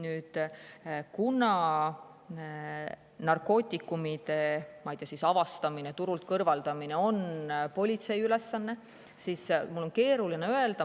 Nüüd, kuna narkootikumide avastamine ja turult kõrvaldamine on politsei ülesanne, siis mul on keeruline midagi öelda.